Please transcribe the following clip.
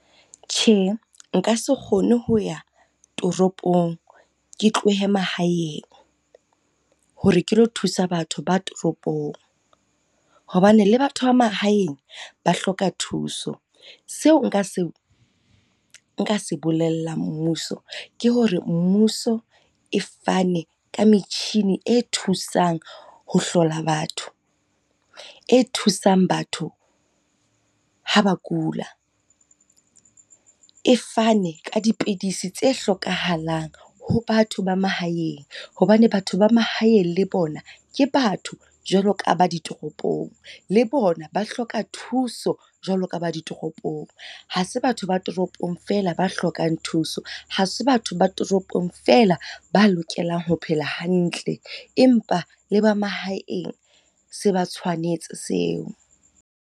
Tjhe, nka se kgone ho ya toropong, ke tlohe mahaeng hore ke lo thusa batho ba toropong. Hobane le batho ba mahaeng ba hloka thuso. Seo nka se bolellang mmuso, ke hore mmuso e fane ka metjhini e thusang ho hlola batho, e thusang batho ha ba kula. E fane ka dipidisi tse hlokahalang ho batho ba mahaeng hobane batho ba mahaeng le bona ke batho jwalo ka ba ditoropong, le bona ba hloka thuso jwalo ka ba ditoropong. Ha se batho ba toropong fela ba hlokang thuso, ha se batho ba toropong fela ba lokelang ho phela hantle. Empa le ba mahaeng se ba tshwanetse seo.